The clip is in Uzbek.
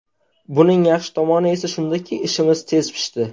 Buning yaxshi tomoni esa shundaki, ishimiz tez pishdi.